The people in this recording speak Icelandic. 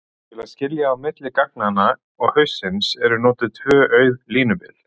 Til að skilja á milli gagnanna og haussins eru notuð tvö auð línubil.